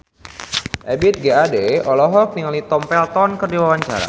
Ebith G. Ade olohok ningali Tom Felton keur diwawancara